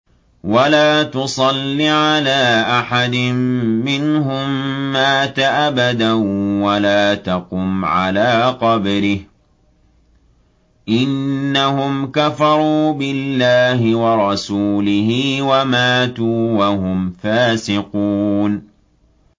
وَلَا تُصَلِّ عَلَىٰ أَحَدٍ مِّنْهُم مَّاتَ أَبَدًا وَلَا تَقُمْ عَلَىٰ قَبْرِهِ ۖ إِنَّهُمْ كَفَرُوا بِاللَّهِ وَرَسُولِهِ وَمَاتُوا وَهُمْ فَاسِقُونَ